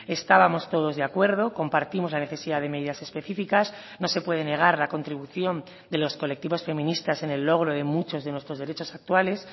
estábamos todos de acuerdo compartimos la necesidad de medidas específicas no se puede negar la contribución de los colectivos feministas en el logro de muchos de nuestros derechos actuales